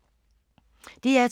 DR2